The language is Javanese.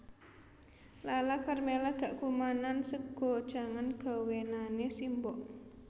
Lala Karmela gak kumanan sega jangan gawenane simbok